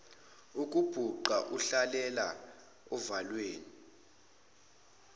ukubhuqa ukuhlalela ovalweni